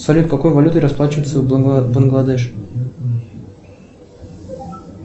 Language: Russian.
салют какой валютой расплачиваться в бангладеш